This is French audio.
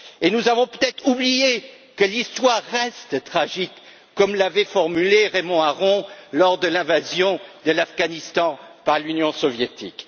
Nous avons peut être oublié que l'Histoire reste tragique, comme l'avait formulé Raymond Aron lors de l'invasion de l'Afghanistan par l'Union soviétique.